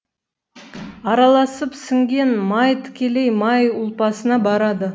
араласып сіңген май тікелей май ұлпасына барады